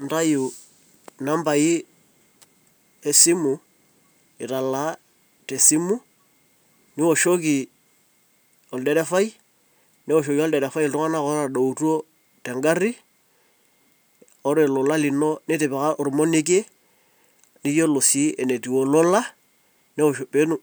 Intayu numbain esimu, italaa te simu, niwoshoki olderefai, newoshoki olderefai iltung'ana otadoutuo te ngari. Ore olola lino nitipika ormonekie, niyolo sii enetiu olola,